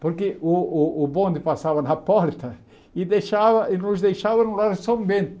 Porque o o o bonde passava na porta e deixava e nos deixava no lar São Bento.